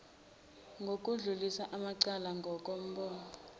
nokudlulisa amacala ngokombono